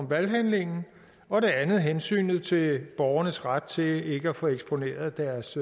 valghandlingen og det andet er hensynet til borgernes ret til ikke at få eksponeret deres